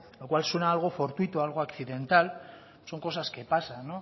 lo cual suena algo fortuito algo accidental son cosas que pasan